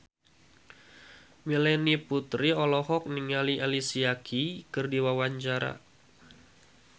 Melanie Putri olohok ningali Alicia Keys keur diwawancara